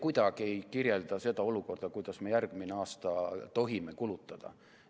See ei kirjelda kuidagi seda olukorda, kuidas me järgmine aasta tohime kulutada.